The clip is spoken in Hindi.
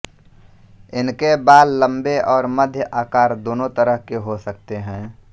इनके बाल लम्बे और मध्य आकार दोनों तरह के हो सकते हैं